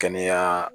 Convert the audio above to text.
Kɛnɛya